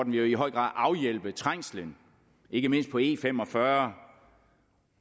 vil jo i høj grad afhjælpe trængslen ikke mindst på e45